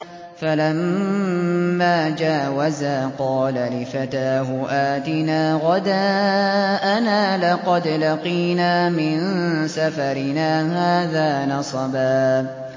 فَلَمَّا جَاوَزَا قَالَ لِفَتَاهُ آتِنَا غَدَاءَنَا لَقَدْ لَقِينَا مِن سَفَرِنَا هَٰذَا نَصَبًا